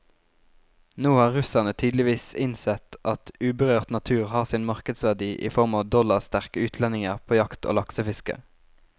Nå har russerne tydeligvis innsett at uberørt natur har sin markedsverdi i form av dollarsterke utlendinger på jakt og laksefiske.